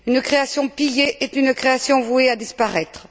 Une création pillée est une création vouée à disparaître.